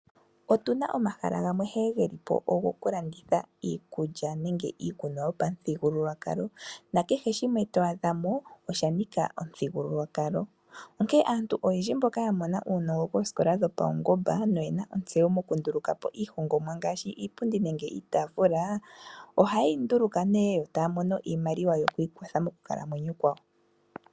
Otuna omahala gamwe nkene geli po ogo ku landitha iikulya nenge iikunwa yopamuthigululwakalo nakehe shimwe to adha mo osha nika omuthigululwakalo. Onkene aantu oyendji mboka ya mona uunongo koosikola dhopaungomba noyena ontseyo moku nduluka po iihongomwa ngaashi iipundi nenge iitaafula, ohaye yi nduluka nee taya mono iimaliwa yoku ikwatha moku kalamwenyo kwawo.